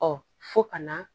Ɔ fo ka na